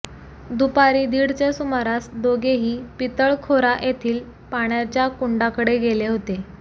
दुपारी दीडच्या सुमारास दोघेही पितळखोरा येथील पाण्याच्या कुंडाकडे गेले होते